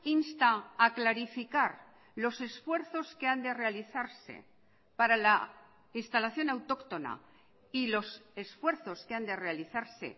insta a clarificar los esfuerzos que han de realizarse para la instalación autóctona y los esfuerzos que han de realizarse